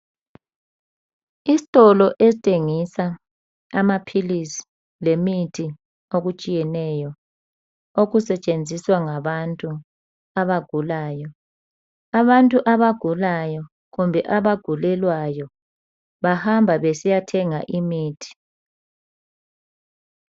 Isitolo esithengisa amaphilisi lemithi okutshiyeneyo okusetshenziswa ngabantu abagulayo. Abantu abagulayo kumbe abagulelwayo bahamba besiyathenga imithi.